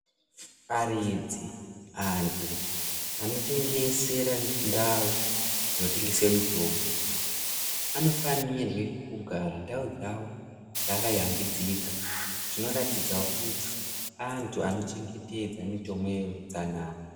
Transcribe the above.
Aridzi antu anotengesere ndau dzinotengese mutombo anofanire kugara ndau dzawo dzakayambidzika zvinoratidzawo kuti antu anochengetedza mutemo yeutsnana.